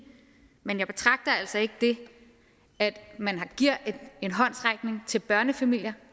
men jeg betragter altså ikke det at man giver en håndsrækning til børnefamilier